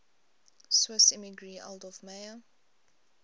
swiss emigree adolf meyer